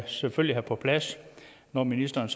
selvfølgelig på plads når ministeren